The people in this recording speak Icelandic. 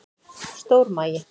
Stór magi